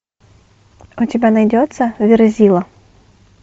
у тебя найдется верзила